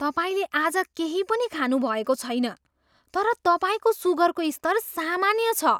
तपाईँले आज केही पनि खानु भएको छैन तर तपाईँको सुगरको स्तर सामान्य छ!